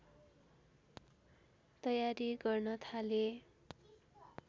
तयारी गर्न थाले